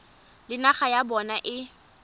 le naga ya bona e